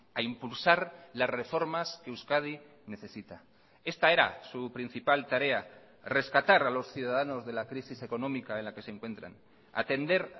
a impulsar las reformas que euskadi necesita esta era su principal tarea rescatar a los ciudadanos de la crisis económica en la que se encuentran atender